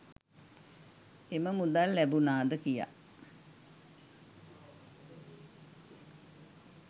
ඒම මුදල් ලැබුනාද කියා